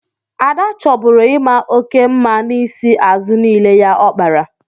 Ada chọburu ị maa oke mma n'isi azụ niile ya ọ kpara.